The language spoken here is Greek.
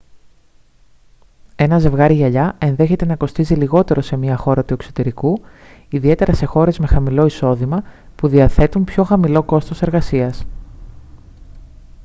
ένα ζευγάρι γυαλιά ενδέχεται να κοστίζει λιγότερο σε μια χώρα του εξωτερικού ιδιαίτερα σε χώρες με χαμηλό εισόδημα που διαθέτουν πιο χαμηλό κόστος εργασίας